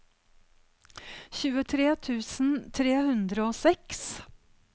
tjuetre tusen tre hundre og seks